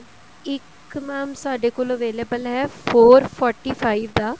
ਇੱਕ mam ਸਾਡੇ ਕੋਲ available ਹੈ four forty five ਦਾ